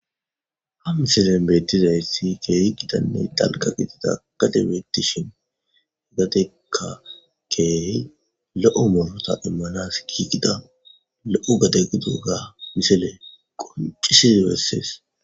ha misilen bettizaysi geey qidanne dalka giitida gatebeettishin higateka keey lo7u molota immanas giigida lo7u gadegiduga misile qoncisi bessees